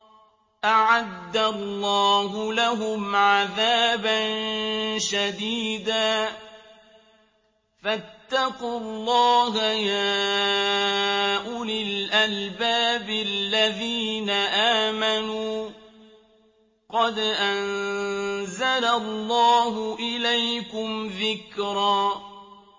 أَعَدَّ اللَّهُ لَهُمْ عَذَابًا شَدِيدًا ۖ فَاتَّقُوا اللَّهَ يَا أُولِي الْأَلْبَابِ الَّذِينَ آمَنُوا ۚ قَدْ أَنزَلَ اللَّهُ إِلَيْكُمْ ذِكْرًا